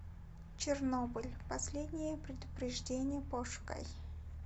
чернобыль последнее предупреждение пошукай